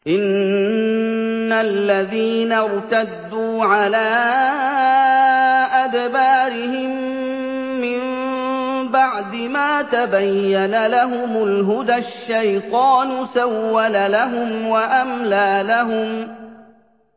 إِنَّ الَّذِينَ ارْتَدُّوا عَلَىٰ أَدْبَارِهِم مِّن بَعْدِ مَا تَبَيَّنَ لَهُمُ الْهُدَى ۙ الشَّيْطَانُ سَوَّلَ لَهُمْ وَأَمْلَىٰ لَهُمْ